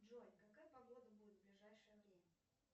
джой какая погода будет в ближайшее время